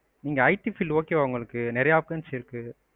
இங்க it field okay வா உங்களுக்கு நிறையா options இருக்கு.